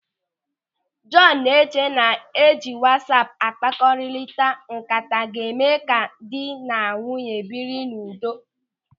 Jọọnu na-eche na ịji wasaapu akpakọrilịta ńkata ga-eme ka dị na nwunye biri n'udo.